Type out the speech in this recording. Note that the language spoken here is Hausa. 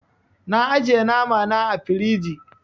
Na ajiye nama na ã firiji.